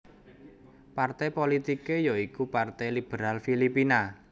Partai politike ya iku Partai Liberal Filipina